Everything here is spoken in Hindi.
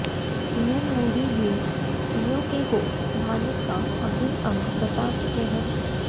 पीएम मोदी भी पीओके को भारत का अभिन्न अंग बता चुके हैं